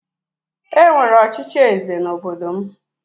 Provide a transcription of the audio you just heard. E nwere ọchịchị eze n'obodo m